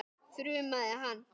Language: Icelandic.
þrumaði hann.